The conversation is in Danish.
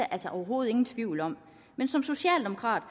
altså overhovedet ingen tvivl om men som socialdemokrat